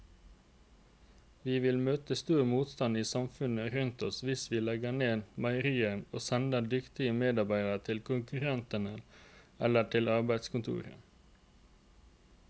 Vi vil møte stor motstand i samfunnet rundt oss hvis vi legger ned meierier og sender dyktige medarbeidere til konkurrentene eller til arbeidskontoret.